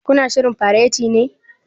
Ku na shirrin fareti ne?